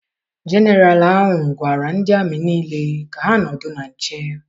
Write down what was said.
Jeneralụ ahụ gwara ndị amị niile ka ha nọdụ na nche.